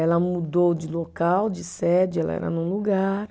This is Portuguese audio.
Ela mudou de local, de sede, ela era num lugar.